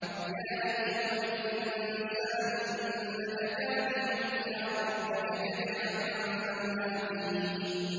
يَا أَيُّهَا الْإِنسَانُ إِنَّكَ كَادِحٌ إِلَىٰ رَبِّكَ كَدْحًا فَمُلَاقِيهِ